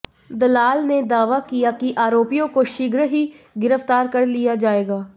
दलाल ने दावा किया कि आरोपियों को शीघ्र ही गिरफ्तार कर लिया जायेगा